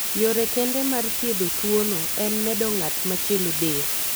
Yore kende mar thiedho tuwono en medo ng'at machielo del.